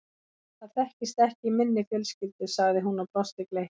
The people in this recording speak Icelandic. Það þekkist ekki í minni fjölskyldu sagði hún og brosti gleitt.